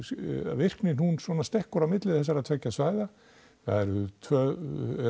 virknin stekkur á milli þessara tveggja svæða það eru tvö